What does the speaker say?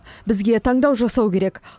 бізге таңдау жасау керек